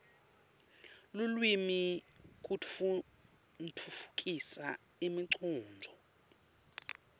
lulwimi kutfutfukisa imicondvo